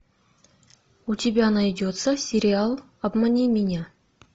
у тебя найдется сериал обмани меня